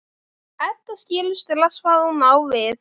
Edda skilur strax hvað hún á við.